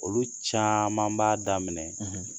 Olu caman b'a daminɛ